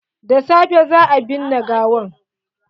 Da safe za a binne gawan.